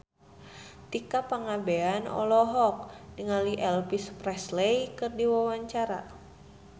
Tika Pangabean olohok ningali Elvis Presley keur diwawancara